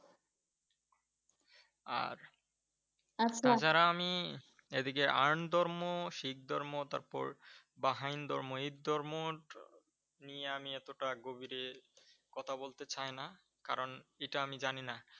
আর তাছাড়া আমি এদিকে আন ধর্ম, শিখ ধর্ম তারপর বা হাই ধর্ম - এই ধর্ম নিয়ে আমি এতটা গভীরে কথা বলতে চাই না কারন, এটা আমি জানি না।